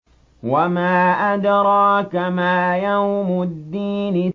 وَمَا أَدْرَاكَ مَا يَوْمُ الدِّينِ